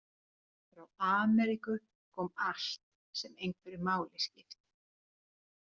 Frá Ameríku kom allt sem einhverju máli skipti.